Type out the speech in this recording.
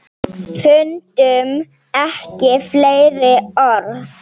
Fundum ekki fleiri orð.